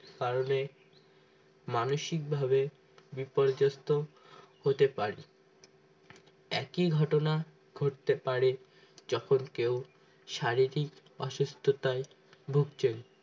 বাড়লে মানসিকভাবে বিপর্যস্ত হতে পারে একই ঘটনা ঘটতে পারে যখন কেউ শারীরিক অসুস্থতায় ভুগছেন